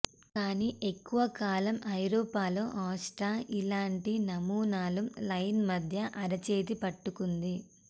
కానీ ఎక్కువ కాలం ఐరోపాలో ఆస్ట్రా ఇలాంటి నమూనాలు లైన్ మధ్య అరచేతి పట్టుకోండి